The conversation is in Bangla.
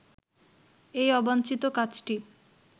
এই অবাঞ্ছিত কাজটি